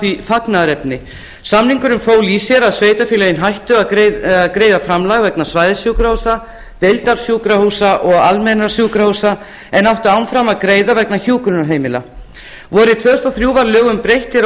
því fagnaðarefni samningurinn fól í sér að sveitarfélögin hættu að greiða framlag vegna svæðissjúkrahúsa deildarsjúkrahúsa og almennra sjúkrahúsa en áttu áfram að greiða vegna hjúkrunarheimila vorið tvö þúsund og þrjú var lögum breytt hér á